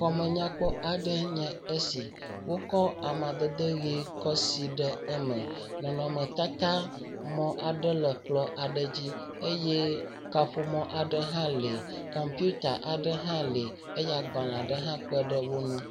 Xɔmenyakpɔ aɖee nye esi. Wokɔ amadede ʋi kɔ si ɖe eme. Nɔnɔ me tata mɔ aɖe le kplɔ aɖe dzi eye kaƒomɔ aɖe hã lee. Kɔmpita aɖe hã le eye agblalẽ hã kpe ɖe wo ŋu.